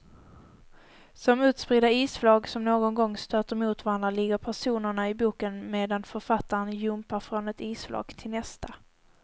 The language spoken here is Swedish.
Som utspridda isflak som någon gång stöter mot varandra ligger personerna i boken medan författaren jumpar från ett isflak till nästa.